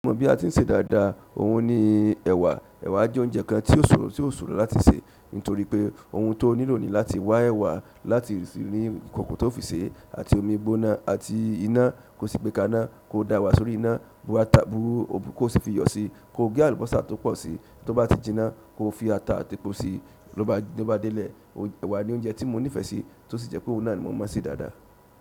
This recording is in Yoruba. Mo mọ̀ bí a ti ń se dáadáa, ohun ni ẹ̀wa. Ẹ̀wà jẹ́ oúnjẹ kan tí ó ṣòro, tí ó ṣòro láti sè nítorí pé ohun tó nílò nì láti wá ẹ̀wà láti rí kọkọ tó fi sè àti omi gbóná àti iná. Kò sí gbé ká'ná, kó da ewà sórí iná, bú ata, bú ò'bú ko sì fi iyọ̀ sí. Kò gé àlùbọ́sà tó pọ̀ sí, tó bá ti jinná kó fi ata àti epo sí. Lóbà dé lẹ̀, ẹ̀wà ni oúnjẹ tí mo nífẹ̀ẹ́ sí tí ó sì jẹ́ pé òun náà ni mo mọ̀ se dáadáa.